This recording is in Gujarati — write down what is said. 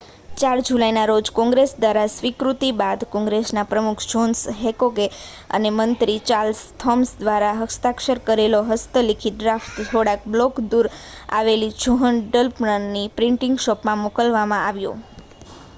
4 જુલાઈના રોજ કૉંગ્રેસ દ્વારા સ્વીકૃતિ બાદ કૉંગ્રેસના પ્રમુખ જૉહ્ન હૅન્કૉક અને મંત્રી ચાર્લ્સ થૉમ્સન દ્વારા હસ્તાક્ષર કરેલો હસ્તલિખિત ડ્રાફ્ટ થોડાક બ્લૉક દૂર આવેલી જૉહ્ન ડન્લપની પ્રિન્ટિંગ શૉપમાં મોકલવામાં આવ્યો